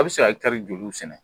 A' be se ka kari joluw sɛnɛ?